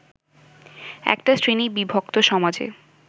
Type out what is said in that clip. একটা শ্রেণী বিভক্ত সমাজে